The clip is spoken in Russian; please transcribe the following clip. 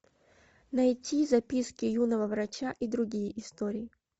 найти записки юного врача и другие истории